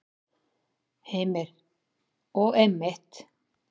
Heimir: Og einmitt.